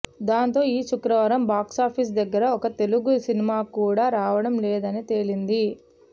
దాంతో ఈ శుక్రవారం బాక్సాఫీసు దగ్గర ఒక్క తెలుగు సినిమాకూడా రావడం లేదని తేలింది